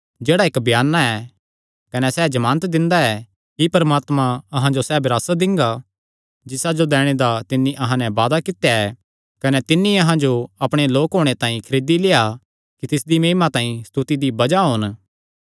जेह्ड़ा इक्क बयाना ऐ कने सैह़ जमानत दिंदा ऐ कि परमात्मा अहां जो सैह़ विरासत दिंगा जिसा जो दैणे दा तिन्नी अहां नैं वादा कित्या ऐ कने तिन्नी अहां जो अपणे लोक होणे तांई खरीदी लेआ कि तिसदी महिमा तांई स्तुति दी बज़ाह होन